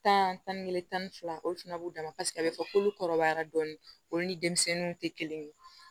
Tan tan ni kelen tan ni fila olu fana b'u dama paseke a bɛ fɔ k'olu kɔrɔbayara dɔɔni olu ni denmisɛnninw tɛ kelen ye